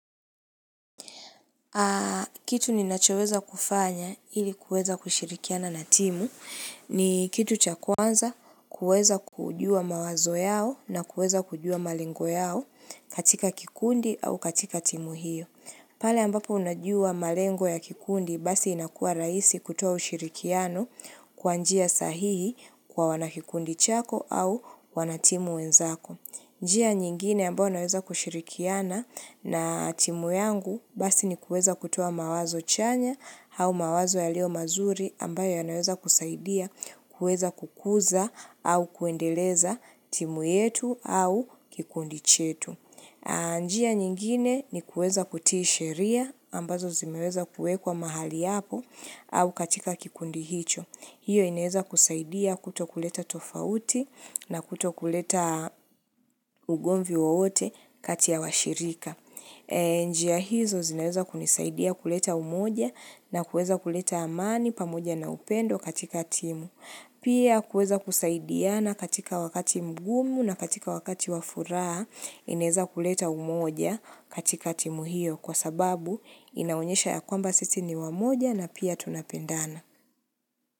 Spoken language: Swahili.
Kitu ninachoweza kufanya ili kuweza kushirikiana na timu ni kitu cha kwanza kuweza kujua mawazo yao na kuweza kujua malengo yao katika kikundi au katika timu hiyo. Pale ambapo unajua malengo ya kikundi basi inakuwa rahisi kutoa ushirikiano kwa njia sahihi kwa wanakikundi chako au wanatimu wenzako. Njia nyingine ambayo naweza kushirikiana na timu yangu basi ni kuweza kutoa mawazo chanya au mawazo yaliyo mazuri ambayo yanaweza kusaidia kuweza kukuza au kuendeleza timu yetu au kikundi chetu. Njia nyingine ni kuweza kutii sheria ambazo zimeweza kuekwa mahali hapo au katika kikundi hicho. Hiyo inaweza kusaidia kuto kuleta tofauti na kuto kuleta ugomvi wowote kati ya washirika. Njia hizo zinaweza kunisaidia kuleta umoja na kuweza kuleta amani pamoja na upendo katika timu Pia kuweza kusaidiana katika wakati mgumu na katika wakati wa furaha inaweza kuleta umoja katika timu hiyo kwa sababu inaonyesha ya kwamba sisi ni wamoja na pia tunapendana.